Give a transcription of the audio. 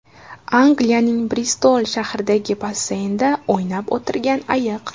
Angliyaning Bristol shahridagi basseynda o‘ynab o‘tirgan ayiq.